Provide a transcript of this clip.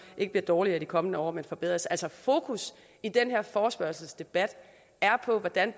ikke bliver dårligere i de kommende år men forbedres altså fokus i den her forespørgselsdebat er på hvordan